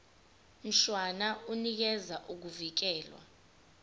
mshwana unikeza ukuvikelwa